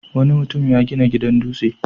Wani mutum ya gina gidan dutse.